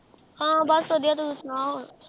ਹਾਂ ਬਸ ਵਧੀਆ, ਤੂੰ ਸੁਣਾ ਹੋਰ